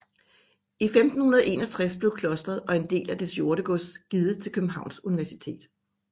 I 1561 blev klosteret og en del af dets jordegods givet til Københavns Universitet